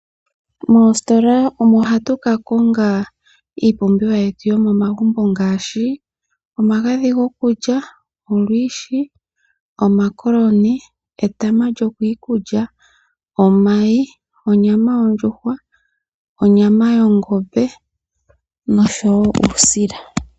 Moositola omo hatu ka konga iipumbiwa yetu yomomagumbo ngaashi omagadhi gokulya, olwiishi, etama lyokiikulya, omakokoni, onyama yongombe oshowo uusila.